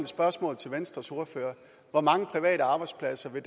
spørgsmål til venstres ordfører hvor mange private arbejdspladser vil